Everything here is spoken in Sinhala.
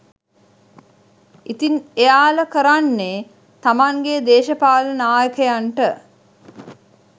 ඉතින් එයාල කරන්නෙ තමන්ගෙ දේශපාලන නායකයටන්ට